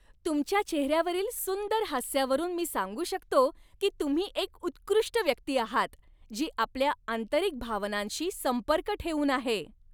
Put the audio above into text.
तुमच्या चेहऱ्यावरील सुंदर हास्यावरून मी सांगू शकतो की तुम्ही एक उत्कृष्ट व्यक्ती आहात, जी आपल्या आंतरिक भावनांशी संपर्क ठेवून आहे.